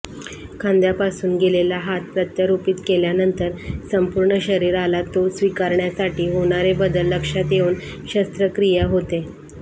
खांद्यापासून गेलेला हात प्रत्यारोपित केल्यानंतर संपूर्ण शरीराला तो स्वीकारण्यासाठी होणारे बदल लक्षात घेऊन शस्त्रक्रिया होते